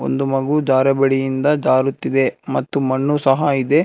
ಒಂದು ಮಗು ಜಾರಬಡಿಯಿಂದ ಜಾರುತ್ತಿದೆ ಮತ್ತು ಮಣ್ಣು ಸಹ ಇದೆ.